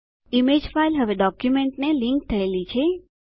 image file હવે ડોક્યુંમેંટને link થયેલી છે